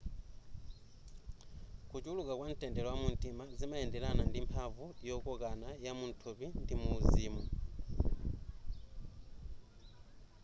kuchulukwa kwamtendere wamumtima zimayenderana ndi mphamvu yokokana yamuthupi ndi muuzimu